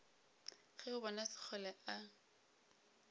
ge o bona sekgole a